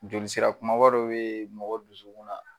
Joli sira kumaba dɔ be mɔgɔ dusukun na